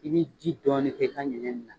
I bɛ ji dɔɔni kɛ i ta ɲiginin na.